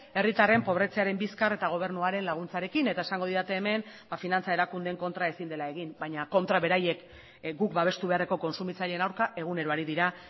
herritarren pobretzearen bizkar eta gobernuaren laguntzarekin eta esango didate hemen finantza erakundeen kontra ezin dela egin baina kontra beraiek guk babestu beharreko kontsumitzaileen aurka egunero ari dira